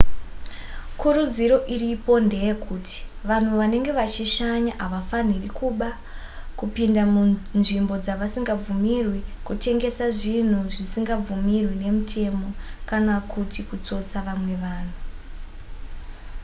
kurudziro iripo ndeyekuti vanhu vanenge vachishanya havafaniri kuba kupinda munzvimbo dzavasingabvumirwi kutengesa zvinhu zvisingabvumirwi nemutemo kana kuti kutsotsa vamwe vanhu